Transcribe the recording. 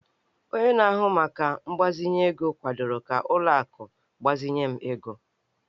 Onye na-ahụ maka mgbazinye ego kwadoro ka ụlọ akụ gbazinye m ego